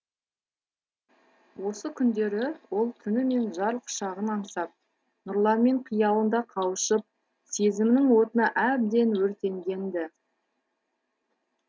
осы күндері ол түнімен жар құшағын аңсап нұрланмен қиялында қауышып сезімнің отына әбден өртенген ді